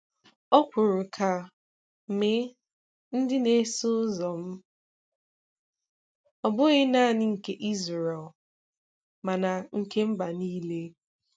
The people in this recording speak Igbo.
O kwuru ka "mee ndị na-eso ụzọ m," Ọ bụghị nanị nke Israel, mana nke mba nile.